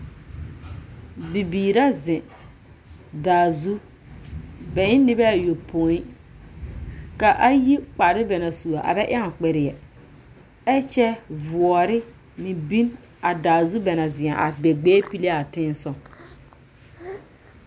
Bibiira zeŋ daa zu. Bɛ en nobɛa yopoi. Ka ayi kparre bɛ na sua a bɛ ɛoŋ kperrea. Ɛkyɛ voɔre me bin a daa zu bɛ na zea a bɛ gbɛɛ pilem a tensɔg.